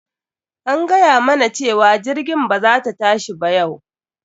An gayamana cewa jirgin ba za ta tashi yau ba,